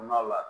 N'a la